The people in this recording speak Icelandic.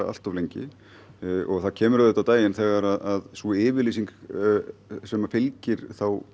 allt of lengi og það kemur auðvitað á daginn þegar að sú yfirlýsing sem að fylgir